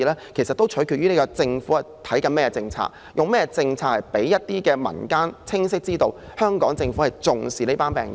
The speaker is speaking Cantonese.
這其實也取決於政府採用甚麼政策，讓民間清晰知道香港政府是重視這群病友的。